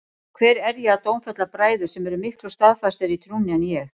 Og hver er ég að dómfella bræður sem eru miklu staðfastari í trúnni en ég?